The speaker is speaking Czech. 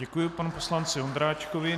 Děkuji panu poslanci Ondráčkovi.